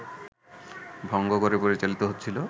ভঙ্গ করে পরিচালিত হচ্ছিল